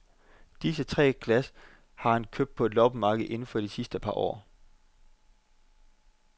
Disse tre glas har han købt på et loppemarked inden for de sidste par år.